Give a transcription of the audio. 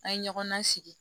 An ye ɲɔgɔn nasigi